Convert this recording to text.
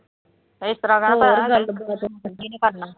ਇਸ ਤਰ੍ਵਾਂ